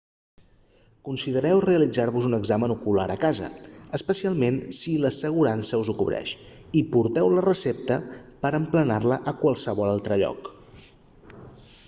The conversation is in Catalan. considereu realitzar-vos un examen ocular a casa especialment si l'assegurança us ho cobreix i porteu la recepta per a emplenar-la a qualsevol altre lloc